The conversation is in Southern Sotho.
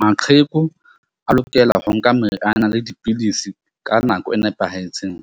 Maqheku a lokela ho nka meriana le dipidisi ka nako e nepahetseng